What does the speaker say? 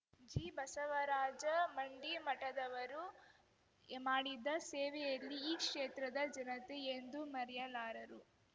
ಜಿಬಸವರಾಜ ಮಂಡಿಮಠದವರು ಮಾಡಿದ ಸೇವೆಯಲ್ಲಿ ಈ ಕ್ಷೇತ್ರದ ಜನತೆ ಎಂದೂ ಮರೆಯಲಾರರು